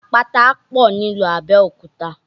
Àpáta pọ̀ ní ìlú Abẹ́òkúta